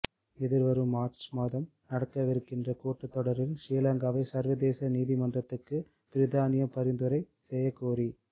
எதிர்வரும் மார்ச் மாதம் நடக்கவிருக்கிற கூட்டத்தொடரில் ஸ்ரீ லங்காவை சர்வதேச நீதிமன்றுக்கு பிரித்தானியா பரிந்துரை செய்யக்கோரி